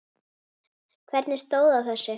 Hvernig stóð á þessu?